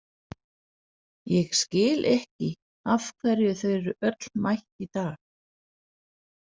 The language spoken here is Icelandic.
Ég skil ekki af hverju þau eru öll mætt í dag.